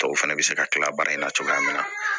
Tɔw fana bɛ se ka kila baara in na cogoya min na